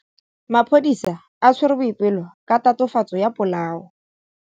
Maphodisa a tshwere Boipelo ka tatofatsô ya polaô.